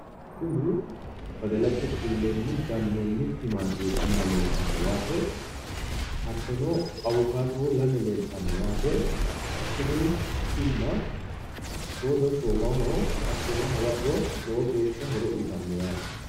Kuni badalate bulleenni gannonni timma leeltanno yaate awukaatono lame leeltanno yaate tini timma soodo shoomaho hattono hawaro horo uyittano yate